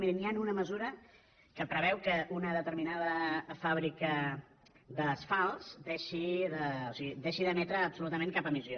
miri hi ha una mesura que preveu que una determinada fàbrica d’asfalts deixi d’emetre absolutament cap emissió